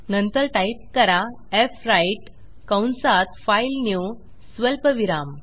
नंतर टाईप करा फ्व्राईट कंसात फाइलन्यू स्वल्पविराम